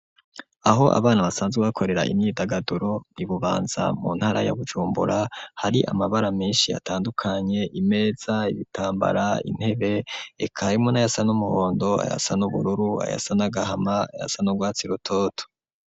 Aho abana basanzwe bakorera imyidagaduro ibubanza mu ntara ya bujumbura hari amabara menshi atandukanye imeza ibitambara intebe eka n'ayasa n'umuhondo ayasa n'ubururu ayasa nagahama ayasa n'ubwatsi rutoto.